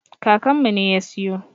Kakanmu ne ya siyo.